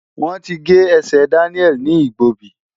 Wọ́n ti gé ẹsẹ̀ Daniel ní Igbobi.